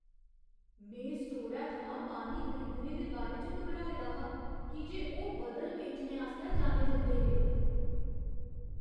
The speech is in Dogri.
में स्टोरै थमां पानी खरीदने दे बारे च घबराए दा हा की जे ओह् बदल बेचने आस्तै जाने जंदे हे।